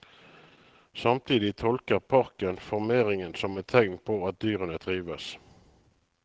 Samtidig tolker parken formeringen som et tegn på at dyrene trives.